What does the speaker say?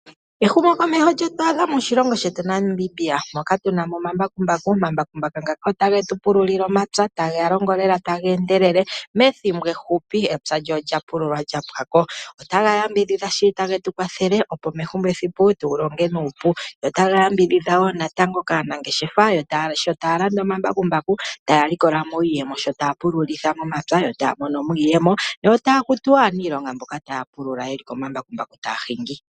Ehumokomeho lyetu adha moshilongo shetu Namibia. Tuna mo omambakumbaku, omambakumbaku ngaaka otage tu pululile omapya taga longo lela taga endelele methimbo efupi epya lyoye olya pululwa lyapwako. Ota ga yambidhidha shili go ota getu kwathele opo methimbo ehupi tu longe nuupu. Go otaga yambidhidha wo natango kaanangeshefa sho taya landa omambakumbaku taya likolamo iiyemo shota pulula momapya yota monomo iiyemo yota kutu wo aanilonga mboka taa pulula yeli komambakumbaku taya hingi.